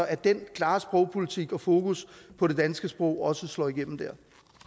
at den klare sprogpolitik og fokus på det danske sprog også slår igennem dér